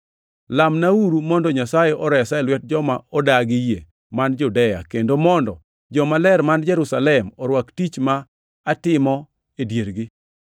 Lamnauru mondo Nyasaye oresa e lwet joma odagi yie man Judea, kendo mondo jomaler man Jerusalem orwak tich ma atimo e diergi,